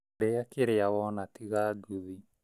Rĩa kĩrĩa wona tiga nguthi